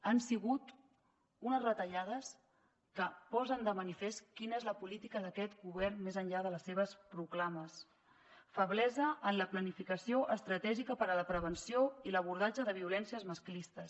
han sigut unes retallades que posen de manifest quina és la política d’aquest govern més enllà de les seves proclames feblesa en la planificació estratègica per a la prevenció i l’abordatge de violències masclistes